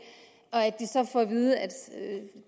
og får at vide at